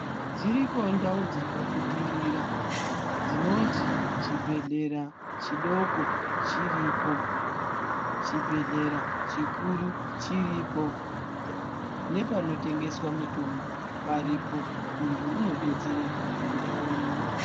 Dziriko ndau dzakabudirira dzinoti chibhedhlera chidoko chiripo chibhedhlera chikuru chiripo nepanotengeswa mitombo paripo muntu unodetsereka pandau imwe.